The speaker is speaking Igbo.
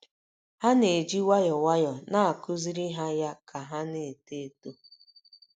Ha na - eji nwayọọ nwayọọ na - akụziri ha ya ka ha na - eto. eto.